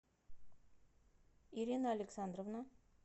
ирина александровна